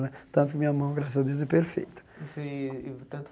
Tanto que minha mão, graças a Deus, é perfeita. Sim e tanto